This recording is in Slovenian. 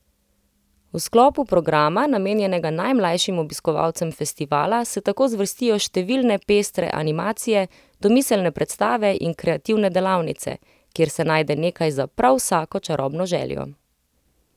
V sklopu programa, namenjenega najmlajšim obiskovalcem festivala, se tako zvrstijo številne pestre animacije, domiselne predstave in kreativne delavnice, kjer se najde nekaj za prav vsako čarobno željo.